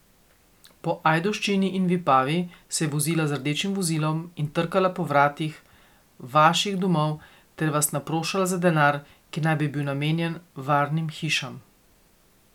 Po Ajdovščini in Vipavi se je vozila z rdečim vozilom in trkala po vratih vaših domov ter vas naprošala za denar, ki naj bi bil namenjen varnim hišam.